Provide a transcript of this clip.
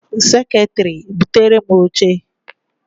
Seketiri! buterem oche!